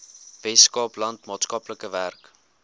weskaapland maatskaplike werk